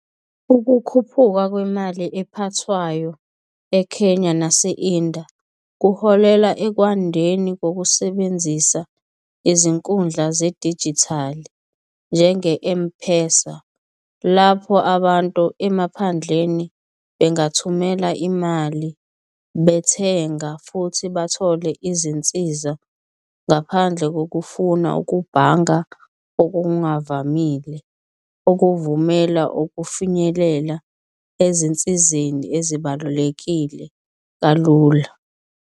Ukukhuphuka kwemali ephathwayo eKenya nase-India kuholela ekwandeni kokusebenzisa izinkundla zedijithali njenge-M-PESA, lapho abantu emaphandleni bangathumela imali bethenga futhi bathole izinsiza. Ngaphandle kokufuna ukubhanga okungavamile, okuvumela ukufinyelela ezinsizeni ezibalulekile kalula.